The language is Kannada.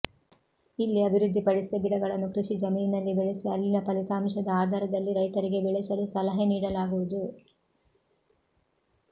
ಇಲ್ಲಿ ಅಭಿವೃದ್ಧಿ ಪಡಿಸಿದ ಗಿಡಗಳನ್ನು ಕೃಷಿ ಜಮೀನಿನಲ್ಲಿ ಬೆಳೆಸಿ ಅಲ್ಲಿನ ಫಲಿತಾಂಶದ ಆಧಾರದಲ್ಲಿ ರೈತರಿಗೆ ಬೆಳೆಸಲು ಸಲಹೆ ನೀಡಲಾಗುವುದು